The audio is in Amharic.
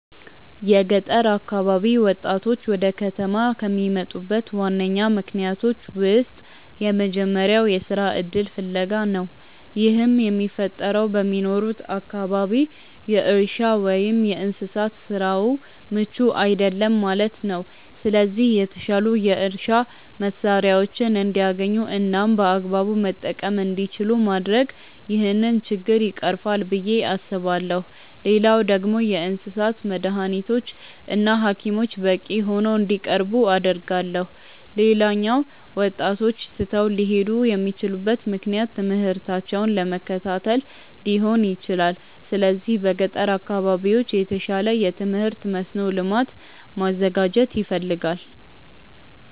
የገጠር አካባቢ ወጣቶች ወደ ከተማ ከሚመጡበት ዋነኛ ምክንያቶች ውስጥ የመጀመሪያው የስራ እድል ፍለጋ ነው። ይህም የሚፈጠረው በሚኖሩበት አካባቢ የእርሻ ወይም የእንስሳት ስራው ምቹ አይደለም ማለት ነው። ስለዚህ የተሻሉ የእርሻ መሳሪያዎችን እንዲያገኙ እናም በአግባቡ መጠቀም እንዲችሉ ማድረግ ይህንን ችግር ይቀርፋል ብዬ አስባለሁ። ሌላኛው ደግሞ የእንስሳት መዳኒቶች እና ሀኪሞች በቂ ሆነው እንዲቀርቡ አደርጋለሁ። ሌላኛው ወጣቶች ትተው ሊሄዱ የሚችሉበት ምክንያት ትምህርታቸውን ለመከታተል ሊሆን ይችላል። ስለዚህ በገጠር አካባቢዎች የተሻለ የትምህርት መስኖ ልማት ማዘጋጀት ያስፈልጋል።